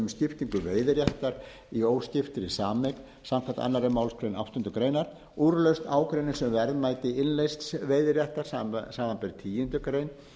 skiptingu veiðiréttar í óskiptri sameign samanber aðra málsgrein áttundu greinar úrlausn ágreinings um verðmæti innleysts veiðiréttar samanber tíundu grein